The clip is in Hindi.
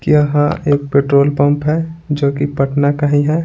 कि यहां एक पेट्रोल पंप है जो कि पटना का ही है।